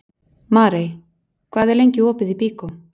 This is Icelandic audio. Marey, hvað er lengi opið í Byko?